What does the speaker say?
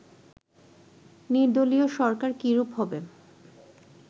নির্দলীয় সরকার কী রূপ হবে